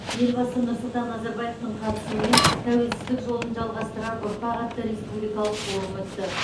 елбасы нұрсұлтан назарбаевтың қатысуымен тәуелсіздік жолын жалғастырар ұрпақ атты республикалық форум өтті